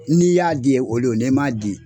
Ni y'a di o don ni m ma di